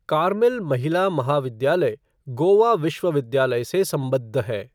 Carmel महिला महाविद्यालय गोवा विश्वविद्यालय से सम्बद्ध है।